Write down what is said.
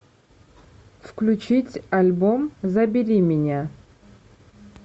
включить альбом забери меня